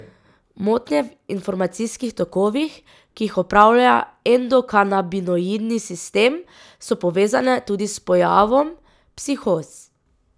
Motnje v informacijskih tokovih, ki jih upravlja endokanabinoidni sistem, so povezane tudi s pojavom psihoz.